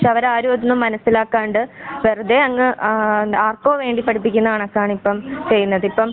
പക്ഷെ അവരാരും അത് മനസിലാക്കാണ്ട് വെറുതെ അങ്ങ് ആ ആർക്കോവേണ്ടി പഠിപ്പിക്കുന്ന കണക്കാണിപ്പം. ചെയ്യുന്നതിപ്പം